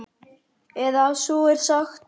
Eða svo er sagt.